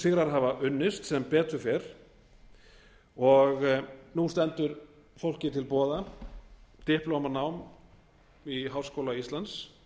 sigrar hafa unnist sem betur fer og nú stendur fólki til boða diplomatanám í háskóla íslands